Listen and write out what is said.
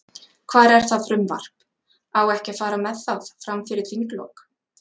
Hvar er það frumvarp, á ekki að fara með það, fram fyrir þinglok?